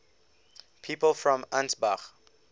people from ansbach